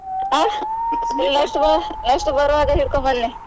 ಆಹ್ next ಬ~ next ಬರುವಾಗ ಹಿಡ್ಕೊಂಡ್ ಬನ್ನಿ.